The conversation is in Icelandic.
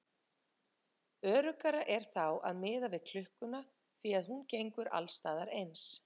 Öruggara er þá að miða við klukkuna því að hún gengur alls staðar eins.